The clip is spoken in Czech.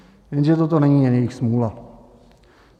Jenže toto není jen jejich smůla.